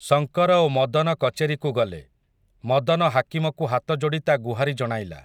ଶଙ୍କର ଓ ମଦନ କଚେରିକୁ ଗଲେ, ମଦନ ହାକିମକୁ ହାତଯୋଡ଼ି ତା ଗୁହାରି ଜଣାଇଲା ।